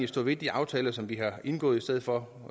stå ved de aftaler som vi har indgået i stedet for